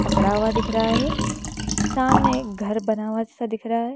खड़ा हुआ दिख रहा है सामने एक घर बना हुआ अच्छा सा दिख रहा है।